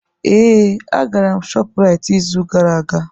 Ee, agara m ShopRite izu gara aga.